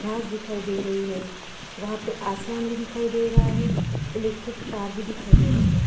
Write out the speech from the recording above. घास दिखाई दे रही हे वहा पे आसमान भी दिखाई दे रहा हे इलेक्ट्रिक तार भी दिखाई दे रहे हे।